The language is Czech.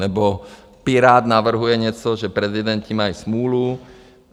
Nebo Pirát navrhuje něco, že prezidenti mají smůlu.